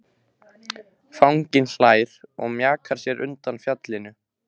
Fanginn hlær og mjakar sér undan fjallinu.